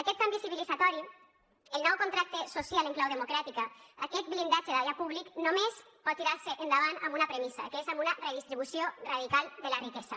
aquest canvi civilitzatori el nou contracte social en clau democràtica aquest blindatge d’allò públic només pot tirar se endavant amb una premissa que és amb una redistribució radical de la riquesa